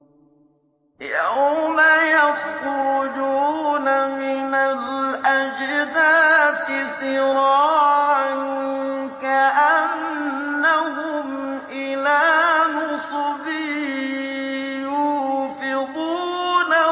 يَوْمَ يَخْرُجُونَ مِنَ الْأَجْدَاثِ سِرَاعًا كَأَنَّهُمْ إِلَىٰ نُصُبٍ يُوفِضُونَ